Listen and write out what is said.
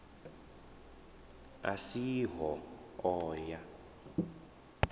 a si ho o ya